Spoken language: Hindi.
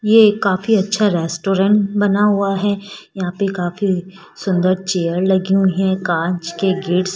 ये काफी अच्छा रेस्टोरेंट बना हुआ है यहां पे काफी सुंदर चेयर लगी हुई है कांच के गेट्स --